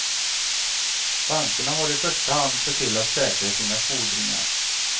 Bankerna har i första hand sett till att säkra sina fordringar.